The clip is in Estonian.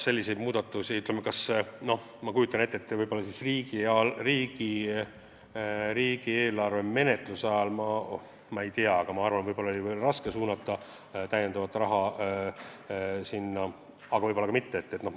Ma kujutan ette, et riigieelarve menetluse ajal oli ehk raske suunata sinna täiendavat raha, aga võib-olla ka mitte.